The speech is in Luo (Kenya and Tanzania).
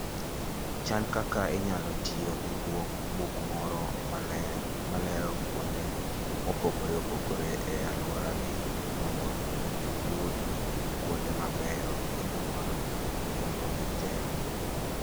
Chan kaka inyalo tiyo gi buk moro malero kuonde mopogore opogore e alworani mondo iyud kuonde mabeyo kendo ma nengogi tek.